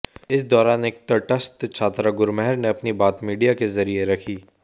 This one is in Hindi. इस दौरान एक तटस्थ छात्रा गुरमेहर ने अपनी बात मीडिया के ज़रिये रखी